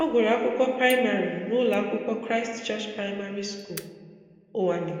Ọ gụrụ akwụkwọ praịmarị n'ụlọakwụkwọ Christ Church Praịmarị School, Uwani